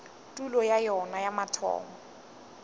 tulo ya yona ya mathomo